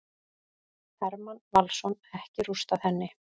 Hermann Valsson: Ekki rústað henni.